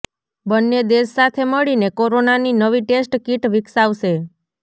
બંને દેશ સાથે મળીને કોરોનાની નવી ટેસ્ટ કિટ વિકસાવશે